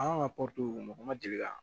An ka mɔgɔ ma deli ka